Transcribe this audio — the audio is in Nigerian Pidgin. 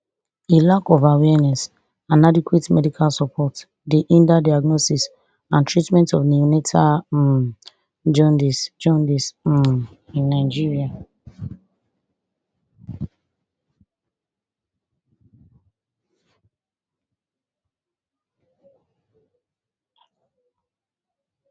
a lack of awareness and adequate medical support dey hinder diagnosis and treatment of neonatal um jaundice jaundice um in nigeria